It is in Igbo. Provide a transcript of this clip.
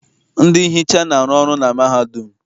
Ndị nhicha na-arụ na mahadum.